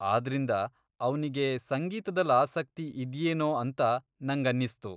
ಆದ್ರಿಂದ, ಅವ್ನಿಗೆ ಸಂಗೀತ್ದಲ್ ಆಸಕ್ತಿ ಇದ್ಯೇನೋ ಅಂತ ನಂಗನ್ನಿಸ್ತು.